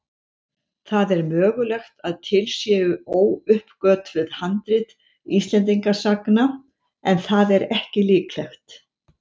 Það er mögulegt að til séu óuppgötvuð handrit Íslendingasagna en það er ekki líklegt.